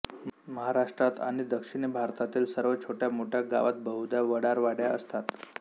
महाराष्ट्रात आणि दक्षिणी भारतातील सर्व छोट्या मोठ्या गावांत बहुधा वडारवाड्या असतात